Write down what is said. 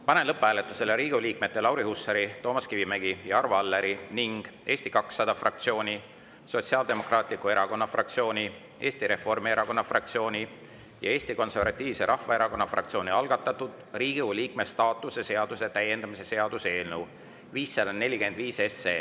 Panen lõpphääletusele Riigikogu liikmete Lauri Hussari, Toomas Kivimägi ja Arvo Alleri ning Eesti 200 fraktsiooni, Sotsiaaldemokraatliku Erakonna fraktsiooni, Eesti Reformierakonna fraktsiooni ja Eesti Konservatiivse Rahvaerakonna fraktsiooni algatatud Riigikogu liikme staatuse seaduse täiendamise seaduse eelnõu 545.